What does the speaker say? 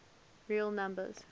real numbers